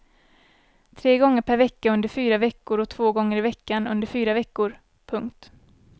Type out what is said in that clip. Tre gånger per vecka under fyra veckor och två gånger i veckan under fyra veckor. punkt